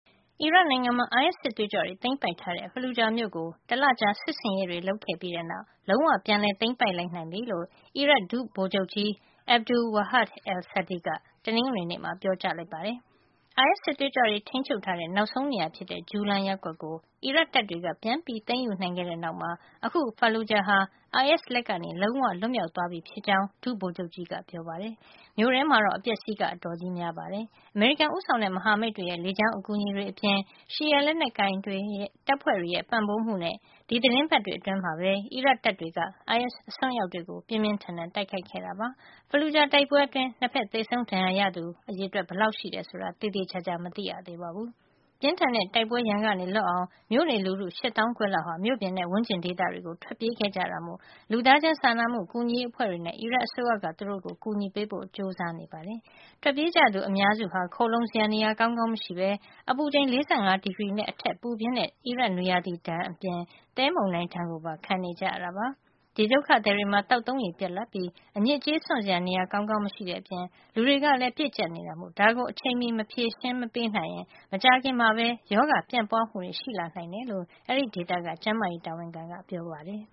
အီရတ်နိုင်ငံမှာ အိုင်အက်စ် စစ်သွေးကြွတွေ သိမ်းပိုက်ထားတဲ့ Fallujah မြို့ကို တလကြာစစ်ဆင်ရေးတွေ လုပ်ပြီးတဲ့နောက် လုံးဝ ပြန်လည်သိမ်းပိုက်နိုင်ပြီလို့ အီရတ်ဒုဗိုလ်ချုပ်ကြီး Abdul-Wahab al-Saadi က တနင်္ဂနွေနေ့မှာ ပြောကြားလိုက်ပါတယ်။ IS စစ်သွေးကြွတွေ ထိန်းချုပ်ထားရာ နောက်ဆုံးနေရာဖြစ်တဲ့ Julan ရပ်ကွက်ကို အီရတ်တပ်တွေက ပြန်သိမ်းယူနိုင်ခဲ့တဲ့နောက် အခု Fallujah ဟာ IS လက်က လုံးဝလွတ်မြောက်သွားပြီ ဖြစ်ကြောင်း ဒုဗိုလ်ချုပ်ကြီးက ပြောပါတယ်။ မြို့ထဲမှာတော့ အပျက်အစီးက အတော်ကြီးများပါတယ်။ အမေရိကန်ဦးဆောင်တဲ့ မဟာမိတ်တွေရဲ့ လေကြောင်းအကူအညီတွေအပြင် ရှီယာလက်နက်ကိုင်တပ်ဖွဲ့တွေရဲ့ ပံ့ပိုးမှုနဲ့ ဒီသီတင်းပတ်တွေအတွင်းမှာပဲ အီရတ်တပ်တွေက IS အစွန်းရောက်တွေကို ပြင်းပြင်းထန်ထန် တိုက်ခိုက်ခဲ့တာပါ။ Fallujah တိုက်ပွဲအတွင်း ၂ ဘက် သေဆုံးဒဏ်ရာရသူ ဘယ်နှစ်ယောက် ရှိတယ်ဆိုတာ သေသေချာချာ မသိရသေးပါဘူး။ ပြင်းထန်တဲ့ တိုက်ပွဲရန်က လွတ်အောင် မြို့နေလူထု ရှစ်သောင်းခွဲလောက် မြို့ပြင်နဲ့ ဝန်းကျင်ဒေသတွေကို ထွက်ပြေးခဲ့ကြတာမို့ လူသားချင်း စာနာမှုကူညီရေးအဖွဲ့တွေနဲ့ အီရတ်အစိုးရက သူတို့ကိုကူညီဖို့ ကြိုးစားနေ ပါတယ်။ ထွက်ပြေးကြသူအများစုဟာ ခိုလှုံစရာ နေရာကောင်းကောင်းမရှိဘဲ အပူချိန် ၄၅ ဒီဂရီနဲ့ အထက် ပူပြင်းတဲ့ အီရတ်နွေရာသီဒဏ်အပြင် သဲမုန်တိုင်းဒဏ်ကိုပါ ခံနေကြရတာပါ။ ဒီဒုက္ခသည်တွေမှာ သောက်သုံးရေ ပြတ်လပ်ပြီး အညစ်အကြေးစွန့်စရာ နေရာကောင်းကောင်းမရှိတဲ့အပြင် လူတွေကလည်း ပြည့်ကြပ်နေတာမို့ ဒါကို အချိန်မီ မဖြေရှင်းနိုင်ရင် မကြာခင်မှာပဲ ရောဂါပြန့်ပွါးမှုတွေ ရှိလာနိုင်တယ်လို့ အဲဒီဒေသက ကျန်းမာရေး တာဝန်ခံက ပြောပါတယ်